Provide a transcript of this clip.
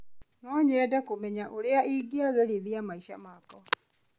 No nyende kũmenya ũrĩa ingĩagĩrithia maica makwa.